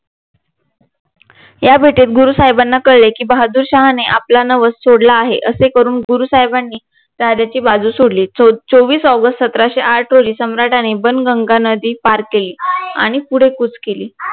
या भेटेत गुरु साहेबांना कळले की बहादूर शाहने आपला नवस सोडला आहे असे करून गुरु साहेबानी राजाची बाजू सोडली चोवीस ऑगस्ट सतराशे आठ रोजी सम्राटाने पण गंगा नदी पार केली आणि पुढे कूच केली